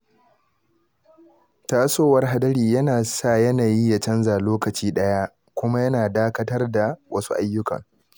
Tasowar hadari yana sa yanayi ya canza lokaci ɗaya, kuma yana dakatar da wasu ayyukan.